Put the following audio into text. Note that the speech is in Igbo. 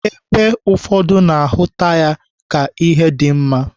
Ebe ụfọdụ na-ahụta ka ihe dị mma.